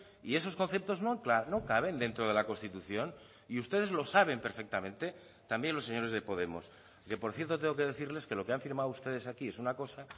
y esos conceptos no caben dentro de la constitución y ustedes lo saben perfectamente también los señores de podemos que por cierto tengo que decirles que lo que han firmado ustedes aquí es una cosa